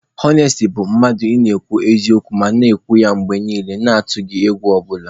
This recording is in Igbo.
Ọnesti bụ mmadụ ị na-akwụ n'eziokwu ma na-ekwu ya mgbe niile na-atụghị egwu ọ bụla.